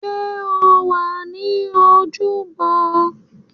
Sọ wà ní ojúbọ?